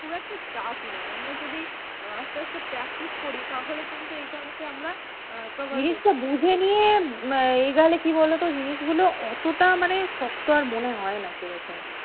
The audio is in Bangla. খুব একটা tough নয় আমরা যদি আসতে আসতে practice করি তাহলে কিন্তু এটাকে আমরা cover করতে পারবো। জিনিসটা বুঝে নিয়ে এই নাহলে কি বলতো জিনিসগুলো অতটা মানে শক্ত আর মনে হয়না সেরকম,